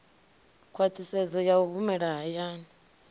khwaṱhisedzo ya u humela hayani